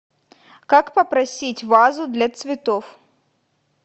как попросить вазу для цветов